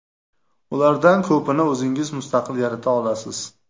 Ulardan ko‘pini o‘zingiz mustaqil yarata olasiz.